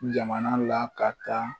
Jamana la ka kan